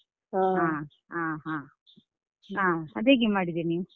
ಹ.